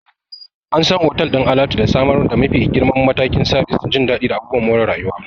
An san otal ɗin alatu da samar da mafi girman matakin sabis, jin daɗi, da abubuwan more rayuwa.